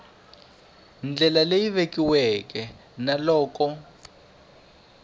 ndlela leyi vekiweke na loko